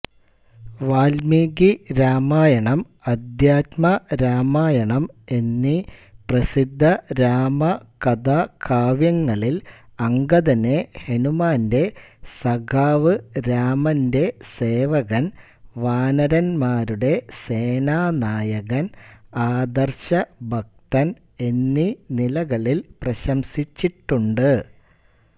വാല്മീകിരാമായണം അധ്യാത്മരാമായണം എന്നീ പ്രസിദ്ധരാമകഥാകാവ്യങ്ങളിൽ അംഗദനെ ഹനുമാന്റെ സഖാവ് രാമന്റെ സേവകൻ വാനരൻമാരുടെ സേനാനായകൻ ആദർശഭക്തൻ എന്നീ നിലകളിൽ പ്രശംസിച്ചിട്ടുണ്ട്